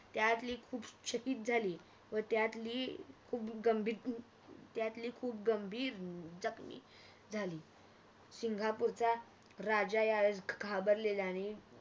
त्यातली खूप चकित झाली व त्यातली खूप गंभीर त्यातली खूप गंभीर जखमी झाली सिंगपूरचा राजा यावेळेस घाबरलेला आणि